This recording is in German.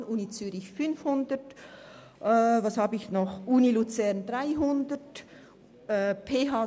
Bei der Universität und der PH Zürich sind es 500 Franken, und in Luzern 300.